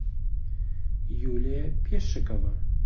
юлия пешикова